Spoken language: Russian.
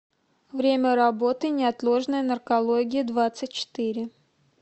время работы неотложная наркология двадцать четыре